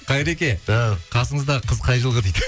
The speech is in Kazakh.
қайреке ау қасыңыздағы қыз қай жылғы дейді